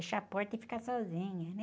Fechar a porta e ficar sozinha, né?